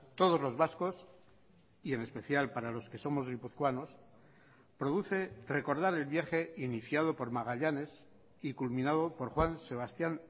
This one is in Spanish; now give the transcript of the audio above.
todos los vascos y en especial para los que somos guipuzcoanos produce recordar el viaje iniciado por magallanes y culminado por juan sebastián